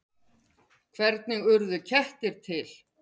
Hvernig urðu kettir til?